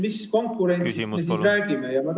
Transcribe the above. Mis konkurentsist me siis räägime?